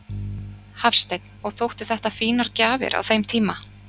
Hafsteinn: Og þóttu þetta fínar gjafir á þeim tíma?